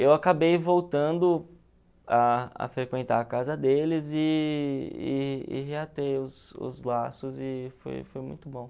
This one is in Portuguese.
Eu acabei voltando a a frequentar a casa deles e e e reatei os os laços e foi foi muito bom.